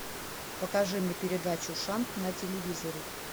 покажи мне передачу шант на телевизоре